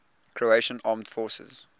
croatian armed forces